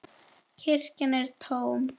Kirkjan er tóm.